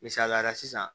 Misaliyala sisan